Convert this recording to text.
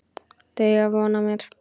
Þau eiga von á mér.